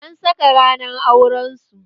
An saka ranar auren su